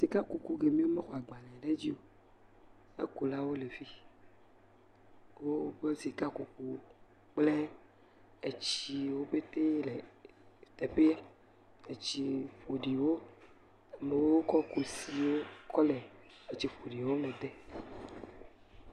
Ke kuku yeke wole agbalẽ ɖe edzi o, ekulawo le efi , woƒe sika kukuwo kple etsiwo pete wole teƒea. Etsi ƒoɖiwo, amewo kɔ kɔ kusiwo kɔ le etsi ƒoɖiwo me dem. B